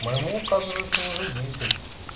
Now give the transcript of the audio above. моему оказывается уже десять